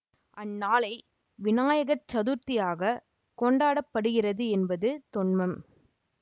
அந்நாளை விநாயகர் சதுர்த்தியாகக் கொண்டாட படுகிறது என்பது தொன்மம்